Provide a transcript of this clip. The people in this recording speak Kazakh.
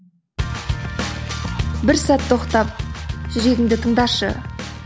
бір сәт тоқтап жүрегіңді тыңдашы